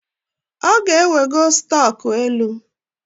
Ọ ga-ewego stọk elu